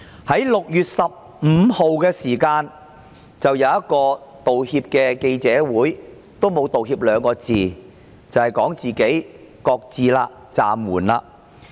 她在6月15日召開了一場記者會，但沒有道歉，只說"擱置"、"暫緩"修例。